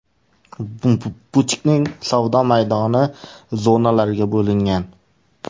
Butikning savdo maydoni zonalarga bo‘lingan.